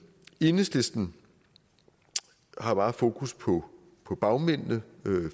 enhedslisten har meget fokus på på bagmændene